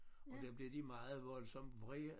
Og der blev de meget voldsomt vrede